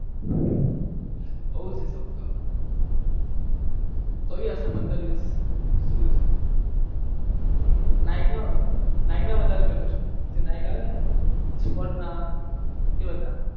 બઉ છે શોખ તો બી હશે પંદર વીસ વધારે પેહનું છુ